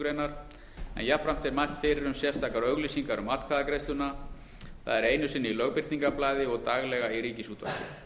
en jafnframt er mælt fyrir um sérstakar auglýsingar um atkvæðagreiðsluna það er einu sinni í lögbirtingablaði og daglega í ríkisútvarpi